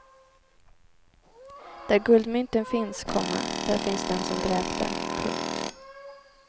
Där guldmynten finns, komma där finns den som dräpte. punkt